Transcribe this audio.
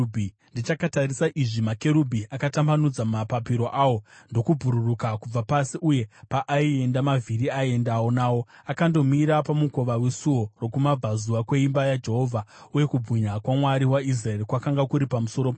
Ndichakatarisa izvi, makerubhi akatambanudza mapapiro awo ndokubhururuka kubva pasi, uye paaienda, mavhiri aiendawo nawo. Akandomira pamukova wesuo rokumabvazuva kweimba yaJehovha, uye kubwinya kwaMwari waIsraeri kwakanga kuri pamusoro pawo.